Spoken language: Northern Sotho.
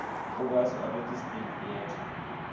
o be swarwetše state theater